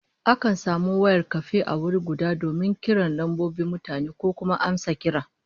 Akan samu wayar kafe a wuri guda donin kiran lambobin mutane ko kuma amsa kira